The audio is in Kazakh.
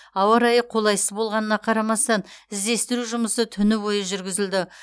ауа райы қолайсыз болғанына қарамастан іздестіру жұмысы түні бойы жүргізілді